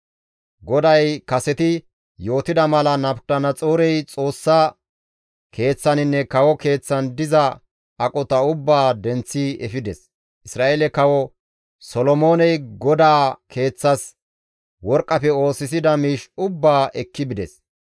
GODAY kaseti yootida mala Nabukadanaxoorey Xoossa Keeththaninne kawo keeththan diza aqota ubbaa denththi efides. Isra7eele kawo Solomooney GODAA Keeththas worqqafe oosisida miish ubbaa ekki bides.